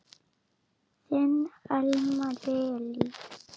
Þinn Elmar Elí.